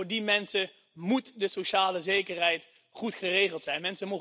Juist voor die mensen moet de sociale zekerheid goed geregeld zijn.